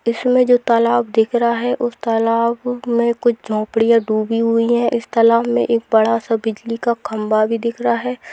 इसमें जो तालाब दिख रहा है उस तालाब में कुछ झोपड़ियां डूबी हुई हैं इस तालाब में एक बड़ा सा बिजली का खंबा भी दिख रहा है।